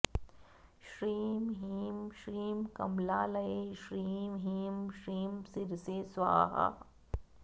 श्रीं ह्रीं श्रीं कमलालये श्रीं ह्रीं श्रीं शिरसे स्वाहा